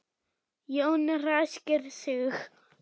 Jón ræskir sig.